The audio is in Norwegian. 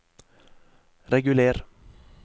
reguler